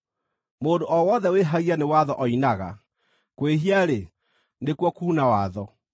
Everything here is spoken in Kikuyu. Mũndũ o wothe wĩhagia nĩ watho oinaga; kwĩhia-rĩ, nĩkuo kuuna watho.